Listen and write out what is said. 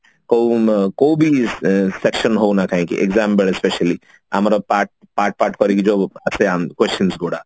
କୋଉ ଉଁ କୋଉ ବି ସେ section ହଉ ନା କାହିଁକି exam ବେଳେ specially ଆମର part part part କରିକି ଯୋଉ ଆସେ questions ଗୁଡା